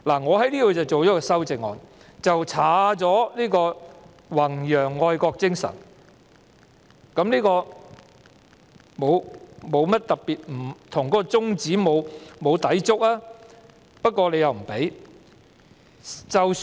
我就此提出修正案，刪去"弘揚愛國精神"，這沒有抵觸宗旨，但修正案不獲批准提出。